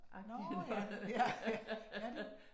Ah, nåh ja, ja ja